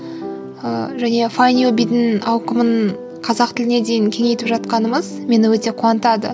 ыыы және файндюбидің ауқымын қазақ тіліне дейін кеңейтіп жатқанымыз мені өте қуантады